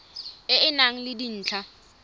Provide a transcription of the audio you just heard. e e nang le dintlha